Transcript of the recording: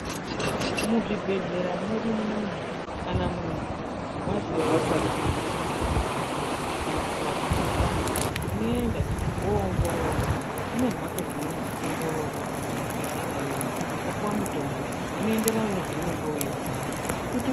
Muzvibhedhlera mwedu munomu kana muntu vazwa kuti nyama dzako dzinorwadza. Kana kuti vazwa mukuhlani unoenda vonoongororwa kune mhatso dzinoongororwa kuzvibhedhlera yoyo. Vopuva mitombo unoenderana nezveunenge veirwara kuti.